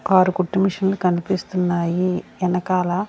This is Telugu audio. ఆరు కుట్టు మిషన్లు కనిపిస్తున్నాయి ఏనకాల.